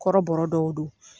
Kɔrɔbɔ dɔw do.